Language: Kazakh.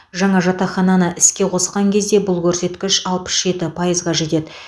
жаңа жатақхананы іске қосқан кезде бұл көрсеткіш алпыс жеті пайызға жетеді